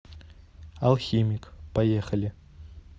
алхимик поехали